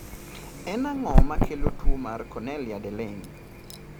En ang'o makelo tuwo mar Cornelia de Lange?